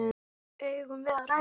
Eigum við að ræða þetta?